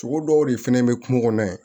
Sogo dɔw de fɛnɛ be kungo kɔnɔ yen